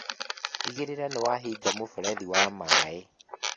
Tigĩrĩra nĩwahinga mũberethi wa maĩ